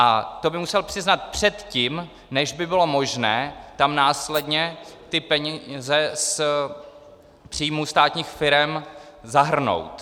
A to by musel přiznat předtím, než by bylo možné tam následně ty peníze z příjmů státních firem zahrnout.